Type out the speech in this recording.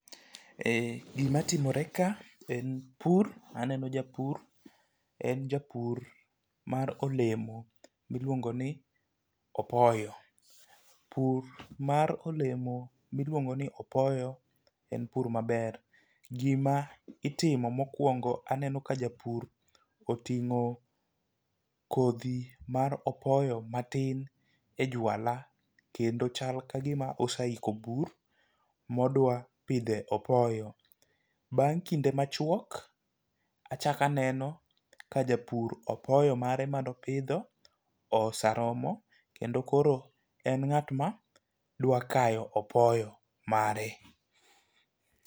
E gima timore ka en pur aneno japur en japur mar olemo miluongo ni opoyo . Pur mar olemo miluongo ni opoyo en pur maber . Gima itimo mokwongo aneno ka japur oting'o kodhi mar opoyo matin e jwala kendo chal kagima oseiko bur modwa pidhe opoyo . Bang' kinde machwok achak aneno ka japur apoyo mare manopidho oseromo kendo en ng'at madwa kayo opoyo mare.